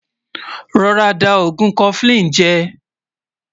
rọ̀rá dà ògún koflin jè